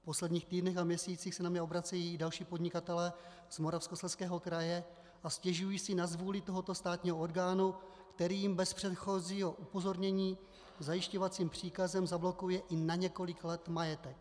V posledních týdnech a měsících se na mě obracejí další podnikatelé z Moravskoslezského kraje a stěžují si na zvůli tohoto státního orgánu, který jim bez předchozího upozornění zajišťovacím příkazem zablokuje i na několik let majetek.